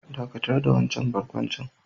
Dakatar da wannan barkwanci